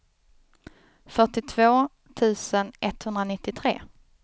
fyrtiotvå tusen etthundranittiotre